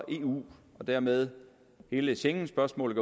eu og dermed hele schengenspørgsmålet